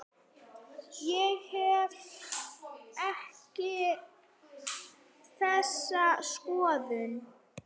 Ég hef ekki þessa skoðun.